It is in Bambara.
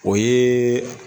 O yeeeeee.